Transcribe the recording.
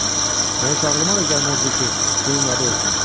Mən heç ağlıma da gəlməzdi ki, bunun adı olsun.